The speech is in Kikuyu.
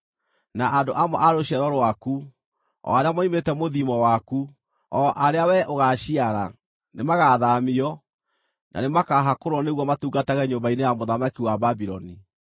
Na andũ amwe a rũciaro rwaku, o arĩa moimĩte mũthiimo waku, o arĩa wee ũgaaciara, nĩmagathaamio, na nĩmakaahakũrwo nĩguo matungatage nyũmba-inĩ ya mũthamaki wa Babuloni.”